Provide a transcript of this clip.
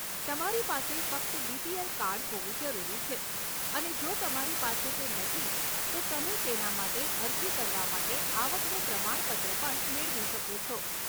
તમારી પાસે ફક્ત બીપીએલ કાર્ડ હોવું જરૂરી છે અને જો તમારી પાસે તે નથી, તો તમે તેના માટે અરજી કરવા માટે આવકનું પ્રમાણપત્ર પણ મેળવી શકો છો.